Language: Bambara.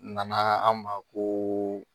Nana an ma ko